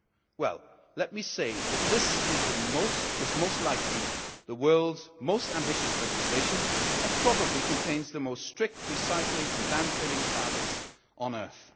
Well, let me say that this is most likely the world's most ambitious legislation and probably contains the strictest recycling and land filling targets on earth.